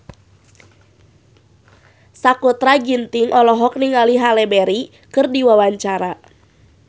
Sakutra Ginting olohok ningali Halle Berry keur diwawancara